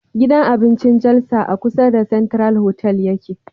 Gidan abincin jalsa a kusa da central hotal yake